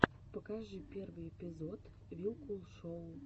покажи первый эпизод вилкул шоу